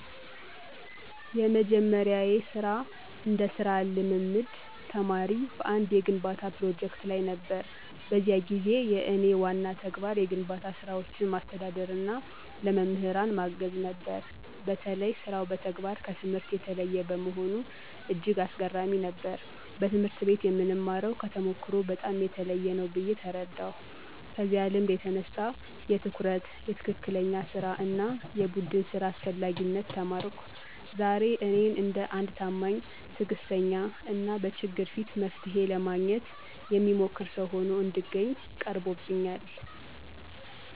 የመጀመሪያዬ ስራ እንደ ሥራ ልምምድ ተማሪ በአንድ የግንባታ ፕሮጀክት ላይ ነበር። በዚያ ጊዜ የእኔ ዋና ተግባር የግንባታ ስራዎችን ማስተዳደርና ለመምህራን ማገዝ ነበር። በተለይ ሥራው በተግባር ከትምህርት የተለየ መሆኑ እጅግ አስገራሚ ነበር፤ በትምህርት ቤት የምንማርው ከተሞክሮ በጣም የተለየ ነው ብዬ ተረዳሁ። ከዚያ ልምድ የተነሳ የትኩረት፣ የትክክለኛ ሥራ እና የቡድን ሥራ አስፈላጊነት ተማርኩ። ዛሬ እኔን እንደ አንድ ታማኝ፣ ትዕግስተኛ እና በችግር በፊት መፍትሔ ለማግኘት የሚሞክር ሰው ሆኖ እንድገኝ ቀርቦብኛል።